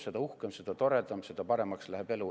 ... seda uhkem ja seda toredam, seda paremaks läheb elu.